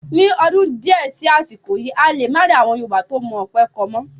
Ni ọdún di ẹ sì àsìkò yìí, a lè máa rí àwọn Yorùbá tó mọ ọ̀pẹ kọ mọ́